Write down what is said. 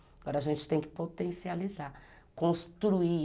Agora a gente tem que potencializar, construir...